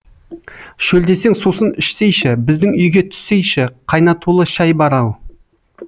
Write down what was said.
шөлдесең сусын ішсейші біздің үйге түссейші қайнатұлы шай бар ау